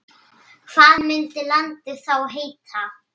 Hvað myndi landið þá heita?